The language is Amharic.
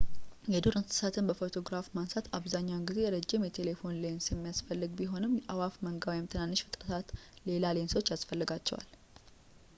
የዱር እንሰሳትን በፎቶግራፊ ማንሳት አብዛኛውን ጊዜ ረዥም የቴሌፎቶ ሌንስ የሚፈልግ ቢሆንም የአእዋፍ መንጋ ወይም ትናንሽ ፍጥረታት ሌላ ሌንሶች ያስፈልጋቸዋል